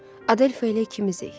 Adelfa elə ikimizik.